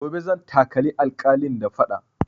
Gobe zan takali alƙalin da faɗa